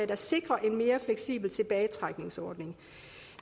der sikrer en mere fleksibel tilbagetrækningsordning